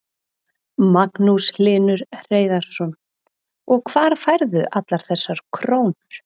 Magnús Hlynur Hreiðarsson: Og hvar færðu allar þessar krónur?